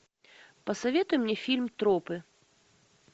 посоветуй мне фильм тропы